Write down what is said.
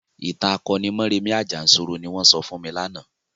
ìtàn akoni Mọ́rẹmì Àjànsorò ni wọ́n sọ fún mi lánàá.